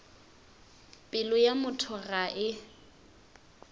pelo ya motho ga e